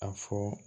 A fɔ